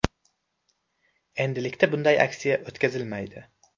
Endilikda bunday aksiya o‘tkazilmaydi.